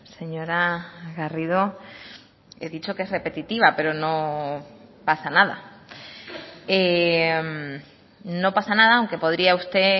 señora garrido he dicho que es repetitiva pero no pasa nada no pasa nada aunque podría usted